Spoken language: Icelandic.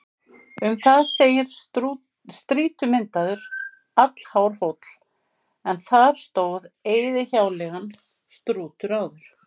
Um það segir: Strýtumyndaður, allhár hóll, en þar stóð eyðihjáleigan Strútur áður.